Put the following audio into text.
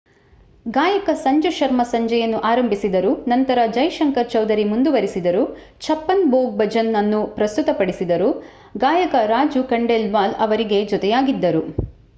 ಗಾಯಕ ಸಂಜು ಶರ್ಮಾ ಸಂಜೆಯನ್ನು ಆರಂಭಿಸಿದರು ನಂತರ ಜೈ ಶಂಕರ್ ಚೌಧರಿ ಮುಂದುವರಿಸಿದರು ಛಪ್ಪನ್ ಭೋಗ್ ಭಜನ್ ಅನ್ನೂ ಪ್ರಸ್ತುತಪಡಿಸಿದರು ಗಾಯಕ ರಾಜು ಖಂಡೇಲ್ವಾಲ್ ಅವರಿಗೆ ಜೊತೆಯಾಗಿದ್ದರು